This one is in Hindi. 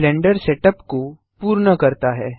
यह ब्लेंडर सेटअप को पूर्ण करता है